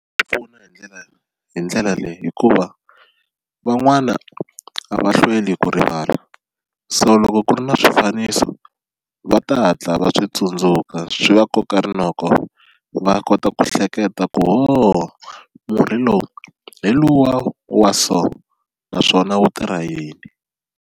Swi pfuna hi ndlela hi ndlela leyi hikuva van'wana a va hlweli ku rivala, so loko ku ri na swifaniso va ta hatla va swi tsundzuka swi va koka rinoko va kota ku hleketa ku ho murhi lowu hi luwa wa so naswona wu tirha yini.